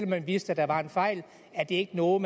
man vidste at der var en fejl er det ikke noget